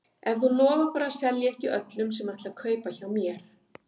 Ef þú lofar bara að selja ekki öllum sem ætla að kaupa hjá mér.